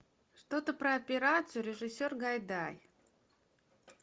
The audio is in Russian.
что то про операцию режиссер гайдай